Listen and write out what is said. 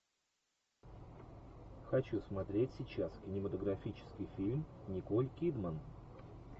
хочу смотреть сейчас кинематографический фильм николь кидман